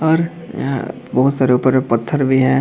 और यहाँ बहुत सारे ऊपर में पत्थर भी हैं।